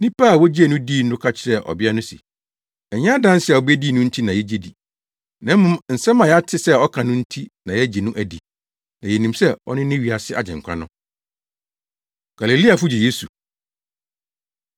Nnipa a wogyee no dii no ka kyerɛɛ ɔbea no se, “Ɛnyɛ adanse a wubedii no nti na yegye no di, na mmom nsɛm a yɛate sɛ ɔka no nti na yɛagye no adi. Na yenim sɛ ɔno ne wiase Agyenkwa no.” Galileafo Gye Yesu